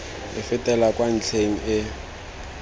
e fetela kwa ntlheng e